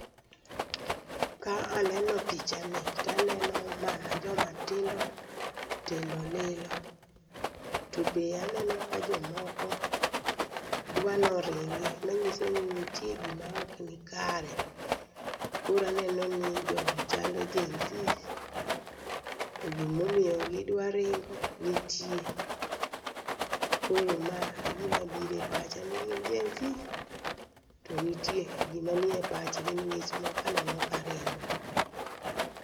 Ka aneno pichani taneno mana jomatindo tindo lilo. Tobe aneno ka jomoko dwanoringi. Manyisoni ntie gima okni kare. Koro anenoni jogi chalo genZs togimomiyo gidwaringo nitie. Koro ma egimabire pacha ni gin genZs to nitie gima nie pachgi ning'is moko aneno karingo.